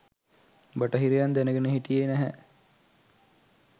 බටහිරයන් දැනගෙන හිටියේ නැහැ